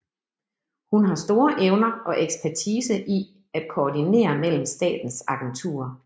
Hun har store evner og ekspertise i at kordinere mellem statens agenturer